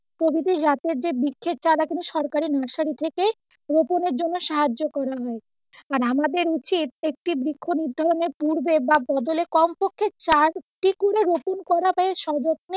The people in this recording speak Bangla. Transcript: প্রভৃতি জাতের যে বৃক্ষের চাড়া গুলো সরকারের nursery থেকে রোপণের জন্য সাহায্য করা হয় আর আআদের হচ্ছে প্রত্যেকটি বৃক্ষ নির্ধারণের পূর্বে বা বদলে কমপক্ষে চারটি করে রোপণ করা হয় সর্বত্রে